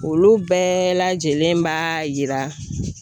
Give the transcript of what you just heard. Olu bɛɛ lajɛlen b'a yira